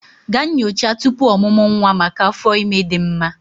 Gaa nyocha tupu ọmụmụ nwa maka afọ ime dị mma